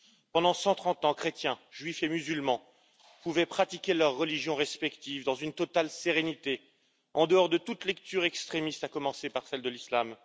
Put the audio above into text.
Pendant 130 ans, chrétiens, Juifs et musulmans pouvaient pratiquer leurs religions respectives dans une totale sérénité, en dehors de toute lecture extrémiste, à commencer par celle de l'islam.